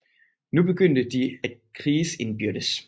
Nu begyndte de at kriges indbyrdes